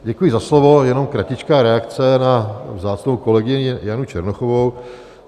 Děkuji za slovo, jenom kratičká reakce na vzácnou kolegyni Janu Černochovou.